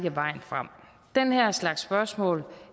er vejen frem den her slags spørgsmål